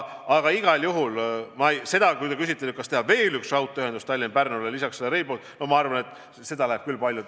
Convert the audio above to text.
Aga igal juhul, kui te küsite, kas teha Tallinna-Pärnu vahele lisaks Rail Balticule veel üks raudtee, siis ma arvan, et seda läheb küll paljuks.